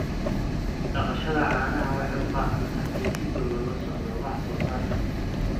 Dhaqashada caanaha waxay u baahan tahay in si dhow loola socdo wax soo saarka.